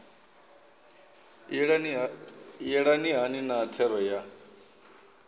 yelana hani na thero ya